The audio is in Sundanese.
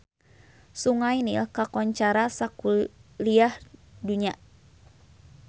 Sungai Nil kakoncara sakuliah dunya